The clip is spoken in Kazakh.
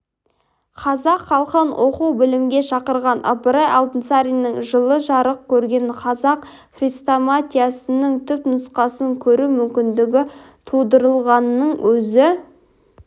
қазақ халқын оқу-білімге шақырған ыбырай алтынсариннің жылы жарық көрген қазақ хрестоматиясының түннұсқасын көру мүмкіндігі тудырылғанының өзі